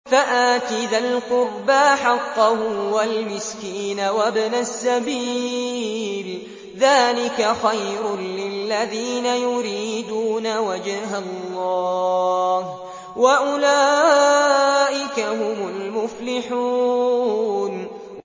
فَآتِ ذَا الْقُرْبَىٰ حَقَّهُ وَالْمِسْكِينَ وَابْنَ السَّبِيلِ ۚ ذَٰلِكَ خَيْرٌ لِّلَّذِينَ يُرِيدُونَ وَجْهَ اللَّهِ ۖ وَأُولَٰئِكَ هُمُ الْمُفْلِحُونَ